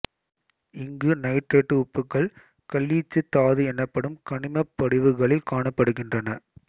இங்கு நைட்ரேட்டு உப்புகள் கலீச்சு தாது எனப்படும் கனிமப் படிவுகளில் காணப்படுகின்றன